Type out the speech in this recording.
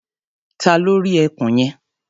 Ta ló rí ẹkùn yẹn?